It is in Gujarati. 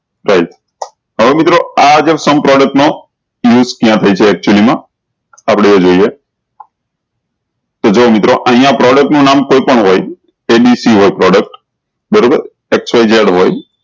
થાય હવે મિત્રો આ જે sum product નો જ્યાં થાય છે actually મા આપળે એ જોયીયે જો મિત્રો અયીયા product નું નામ કોઈ પણ હોય એ બી સી હોય abc બરોબર xyz ઝેડ હોય